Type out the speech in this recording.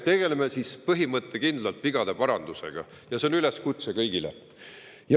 Tegeleme siis põhimõttekindlalt vigade parandusega – see on üleskutse kõigile.